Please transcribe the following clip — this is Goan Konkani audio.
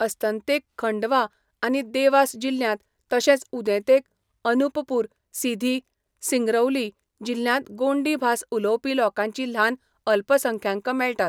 अस्तंतेक खंडवा आनी देवास जिल्ह्यांत तशेंच उदेंतेक अनुपपूर, सिधी, सिंगरौली जिल्ह्यांत गोंडी भास उलोवपी लोकांची ल्हान अल्पसंख्यांक मेळटात.